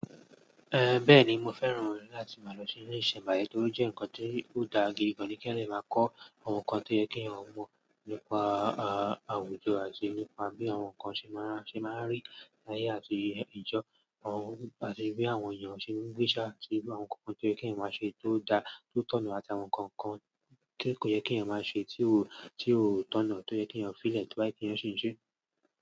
Eh, bẹ́ẹ̀ni mo fẹ́ràn láti máa lọ sí ilé ìṣẹ̀mbáyé torí ó jẹ́ nǹkan tí ò dá gidi gan ni, ki èèyàn dẹ máa kọ́ àwọn nǹkan tó yẹ kí èèyàn mọ̀ nípa, ah, àwùjọ àti nípa bí àwọn nǹkan ṣe máa, ṣe máa rí láyé àti ìjọ, àwọn, àti bí àwọn èèyàn ṣe ń gbésà sí àwọn nǹkan kan tó yẹ kí wọ́n máa ṣe tó da tó tọ̀nà àti àwọn nǹkan kan tí kò yẹ kí èèyàn máa ṣe tí ó, tí ó tọ̀nà tó yẹ kí èèyàn f'ílẹ̀ tó bá yí kí èèyàn ṣe ṣíṣe.